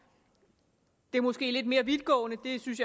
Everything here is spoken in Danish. det er måske lidt mere vidtgående jeg synes